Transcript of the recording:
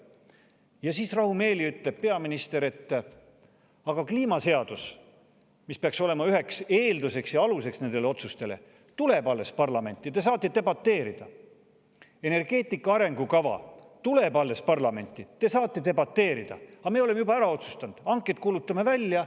Ja siis rahumeeli ütleb peaminister, et aga kliimaseadus, mis peaks olema nende otsuste üheks eelduseks ja aluseks, tuleb alles parlamenti, te saate debateerida; energeetika arengukava tuleb alles parlamenti, te saate debateerida; aga me oleme juba ära otsustanud, hanked kuulutame välja.